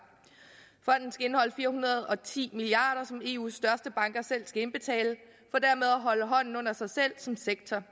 fonden skal indeholde fire hundrede og ti milliard kr som eus største banker selv skal indbetale at holde hånden under sig selv som sektor